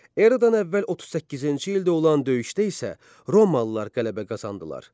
Eradan əvvəl 38-ci ildə olan döyüşdə isə Romalılar qələbə qazandılar.